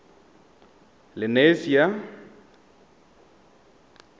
lenasia